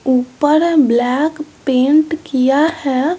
ऊपर black paint किया है।